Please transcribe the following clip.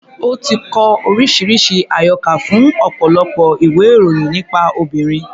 Ó ti kọ oríṣiríṣi àyọkà fún ọ̀pọ̀lọpọ̀ ìwé-ìròyìn nípa obìnrin.